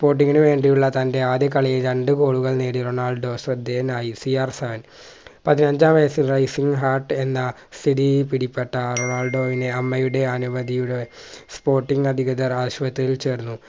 sporting ഇന് വേണ്ടിയുള്ള തന്റെ ആദ്യ കളിയിൽ രണ്ടു ഗോളുകൾ നേടി റൊണാൾഡോ ശ്രദ്ധേയനായി CR seven പതിനഞ്ചാം വയസ്സിന് Rising heart എന്ന സ്ഥിതി പിടിപെട്ട റൊണാൾഡോയിനെ അമ്മയുടെ അനുമതിയുടെ sporting അധികൃതർ ആശുപത്രിയിൽ ചേർന്നു